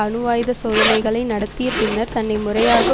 அணுவாயுதச் சோதனைகளை நடத்திய பின்னர் தன்னை முறையாக